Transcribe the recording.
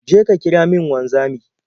Je ka kira min wanzami.